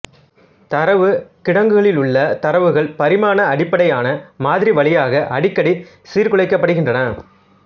தரவுக் கிடங்குகளிலுள்ள தரவுகள் பரிமாணஅடிப்படையான மாதிரி வழியாக அடிக்கடி சீர்குலைக்கப்படுகின்றன